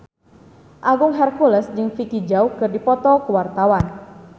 Agung Hercules jeung Vicki Zao keur dipoto ku wartawan